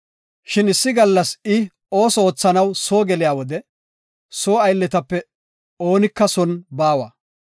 Shin issi gallas I ba ooso oothanaw soo geliya wode, soo aylletape oonika son baawa.